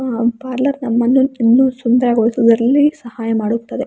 Parlour ನಮ್ಮನ್ನು ಇನ್ನೂ ಸುಂದರಗೊಳಿಸುವುದರಲ್ಲಿ ಸಹಾಯ ಮಾಡುತ್ತದೆ.